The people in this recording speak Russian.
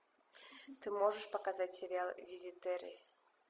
ты можешь показать сериал визитеры